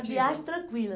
A viagem tranquila.